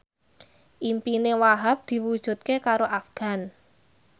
impine Wahhab diwujudke karo Afgan